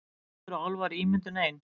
Eru vættir og álfar ímyndun ein